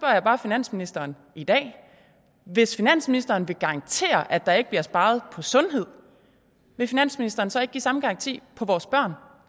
jeg bare finansministeren i dag hvis finansministeren vil garantere at der ikke bliver sparet på sundhed vil finansministeren så ikke give samme garanti når